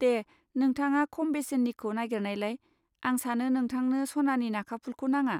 दे, नोंथाङा खम बेसेननिखौ नागेरनायलाय, आं सानो नोंथांनो सनानि नाखाफुलखौ नाङा।